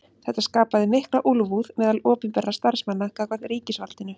Þetta skapaði mikla úlfúð meðal opinberra starfsmanna gagnvart ríkisvaldinu.